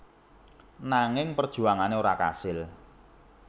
Nanging perjuangane ora kasil